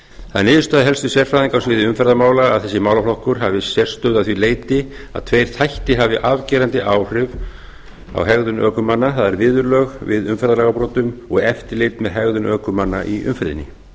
það er niðurstaða helstu sérfræðinga á sviði umferðarmála að þessi málaflokkur hafi sérstöðu að því leyti að tveir þættir hafi afgerandi áhrif á hegðun ökumanna það er viðurlög við umferðarlagabrotum og eftirlit með hegðun ökumanna í umferðinni